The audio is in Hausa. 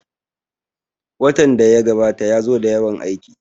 Watan da ya gabata ya zo da yawan aiki